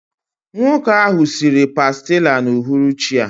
Nwoke ahụ siri pàstilla n'uhuruchi a